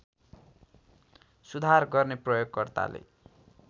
सुधार गर्ने प्रयोगकर्ताले